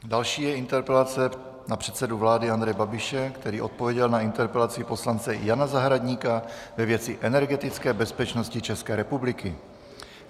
Další je interpelace na předsedu vlády Andreje Babiše, který odpověděl na interpelaci poslance Jana Zahradníka ve věci energetické bezpečnosti České republiky.